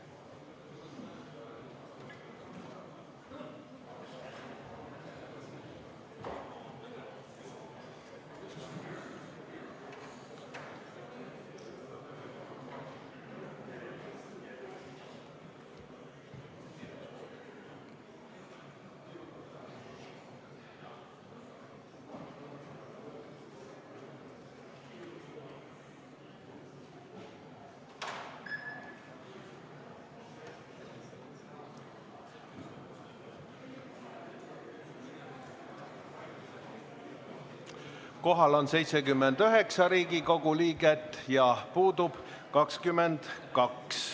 Kohal on 79 Riigikogu liiget ja puudub 22.